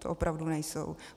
To opravdu nejsou!